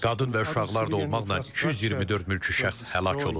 Qadın və uşaqlar da olmaqla 224 mülki şəxs həlak olub.